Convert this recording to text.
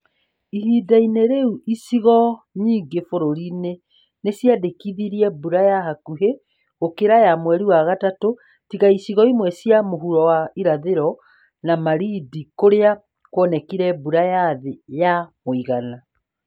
Ihinda-inĩ rĩu, icigo nyingĩ bũrũriinĩ nĩ cĩandĩkithirie mbura ya hakuhĩ gũkĩra ya mweri wa gatatũ, tiga icigo imwe cia mũhuro wa irathĩro na Malindi kũrĩa kwonekire mbura ya thĩ ya ya mũigana.